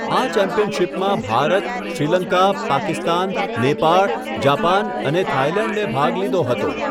આ ચેમ્પિયનશિપમાં ભારત, શ્રીલંકા, પાકિસ્તાન, નેપાળ, જાપાન અને થાઈલેન્ડે ભાગ લીધો હતો.